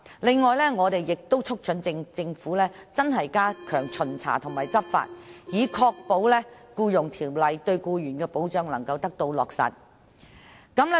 此外，我們亦促請政府認真地加強巡查和執法，以確保《僱傭條例》對僱員的保障得以落實。